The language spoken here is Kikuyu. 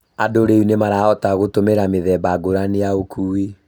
Andũ rĩu nĩmarahota gũtũmĩra mĩthemba ngũrani ya ũkui